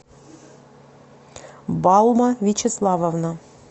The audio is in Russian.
баума вячеславовна